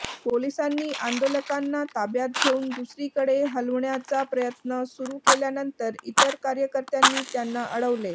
पोलिसांनी आंदोलकांना ताब्यात घेऊन दुसरीकडे हलवण्याचा प्रयत्न सुरू केल्यानंतर इतर कार्यकर्त्यांनी त्यांना अडवले